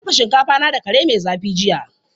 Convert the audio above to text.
Na dafa shinkafa na da kare mai zafi jiya.